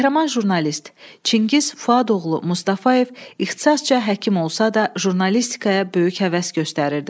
Qəhrəman jurnalist Çingiz Fuadoğlu Mustafayev ixtisasca həkim olsa da, jurnalistikaya böyük həvəs göstərirdi.